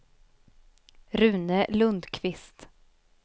Rune Lundqvist